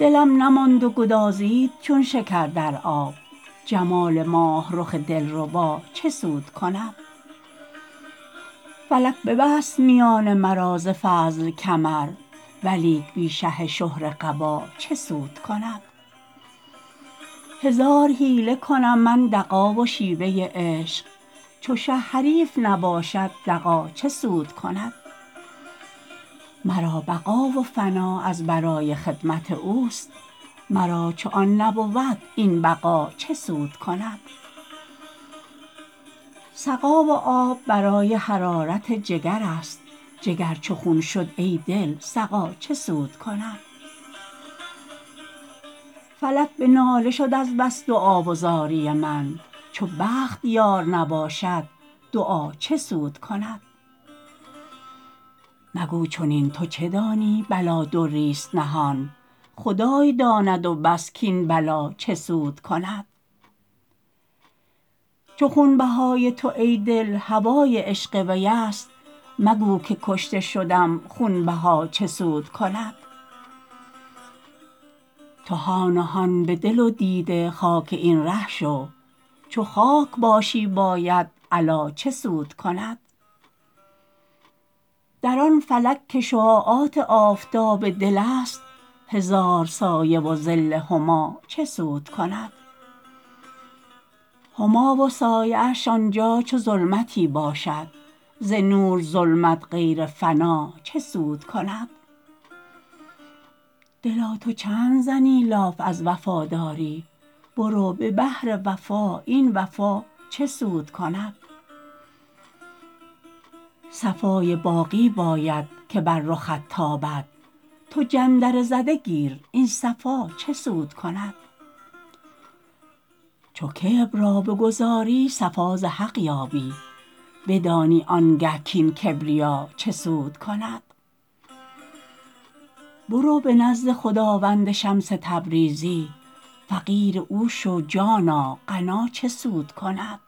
دلم نماند و گدازید چون شکر در آب جمال ماه رخ دلربا چه سود کند فلک ببست میان مرا ز فضل کمر ولیک بی شه شهره قبا چه سود کند هزار حیله کنم من دغا و شیوه عشق چو شه حریف نباشد دغا چه سود کند مرا بقا و فنا از برای خدمت اوست مرا چو آن نبود این بقا چه سود کند سقا و آب برای حرارت جگرست جگر چو خون شد ای دل سقا چه سود کند فلک به ناله شد از بس دعا و زاری من چو بخت یار نباشد دعا چه سود کند مگو چنین تو چه دانی بلا دریست نهان خدای داند و بس کاین بلا چه سود کند چو خونبهای تو ای دل هوای عشق ویست مگو که کشته شدم خونبها چه سود کند تو هان و هان به دل و دیده خاک این ره شو چو خاک باشی باید علا چه سود کند در آن فلک که شعاعات آفتاب دلست هزار سایه و ظل هما چه سود کند هما و سایه اش آن جا چو ظلمتی باشد ز نور ظلمت غیر فنا چه سود کند دلا تو چند زنی لاف از وفاداری برو به بحر وفا این وفا چه سود کند صفای باقی باید که بر رخت تابد تو جندره زده گیر این صفا چه سود کند چو کبر را بگذاری صفا ز حق یابی بدانی آنگه کاین کبریا چه سود کند برو به نزد خداوند شمس تبریزی فقیر او شو جانا غنا چه سود کند